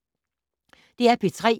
DR P3